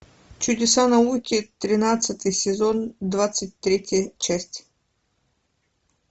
чудеса науки тринадцатый сезон двадцать третья часть